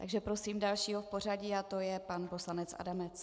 Takže prosím dalšího v pořadí a to je pan poslanec Adamec.